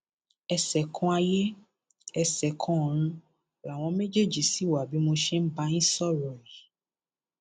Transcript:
ẹṣẹ kanayéẹsẹkànọrun làwọn méjèèjì sì wá bí mo ṣe ń bá yín sọrọ yìí